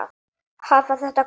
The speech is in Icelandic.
Hafa þetta hvað?